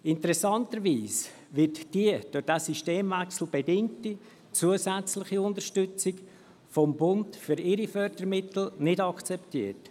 Interessanterweise wird diese durch diesen Systemwechsel bedingte zusätzliche Unterstützung vom Bund für seine Fördermittel nicht akzeptiert.